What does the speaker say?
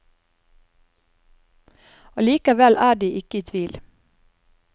Allikevel er de ikke i tvil.